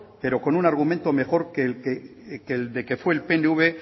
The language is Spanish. pero con un argumento mejor que el de que fue el pnv